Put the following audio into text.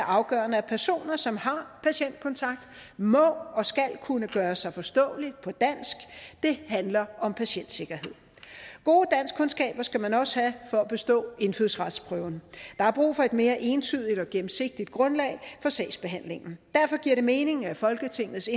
afgørende at personer som har patientkontakt må og skal kunne gøre sig forståelig på dansk det handler om patientsikkerhed gode danskkundskaber skal man også have for at bestå indfødsretsprøven der er brug for et mere entydigt og gennemsigtigt grundlag for sagsbehandlingen derfor giver det mening at folketingets